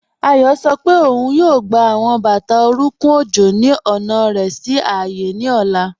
Ayo sọ pe ọun yóò gbà awọn bátà orùnkùn ọjọ́ ni ọna rẹ sí ààyé ni ọla.